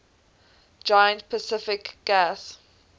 giant pacific gas